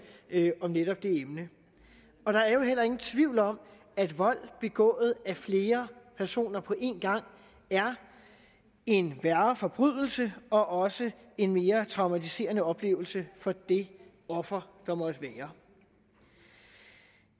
om netop det emne og der er jo heller ingen tvivl om at vold begået af flere personer på en gang er en værre forbrydelse og også en mere traumatiserende oplevelse for det offer der måtte være